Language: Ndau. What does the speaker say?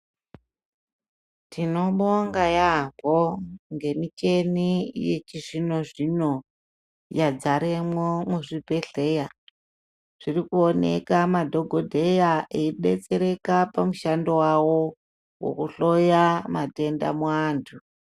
Tinobonga yambo ngemichini yechizvino zvino yadzaremwo muzvibhedhlera. Zvirikuoneka madhokodheya eyibetsereka pamushando wawo wokuhloya matenda muantu.